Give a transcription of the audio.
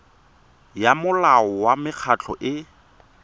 ya molao wa mekgatlho e